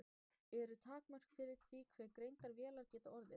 Eru takmörk fyrir því hve greindar vélar geta orðið?